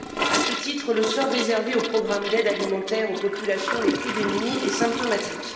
À ce titre, le sort réservé aux programmes d'aide alimentaire aux populations les plus démunies est symptomatique.